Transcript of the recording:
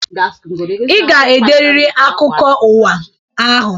Ị ga-ederiri akụkọ ụwa ahụ.